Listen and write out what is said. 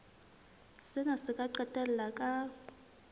sena se ka qetella ka